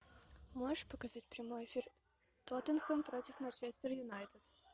можешь показать прямой эфир тоттенхэм против манчестер юнайтед